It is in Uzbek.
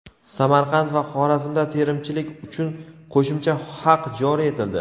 Samarqand va Xorazmda terimchilar uchun qo‘shimcha haq joriy etildi.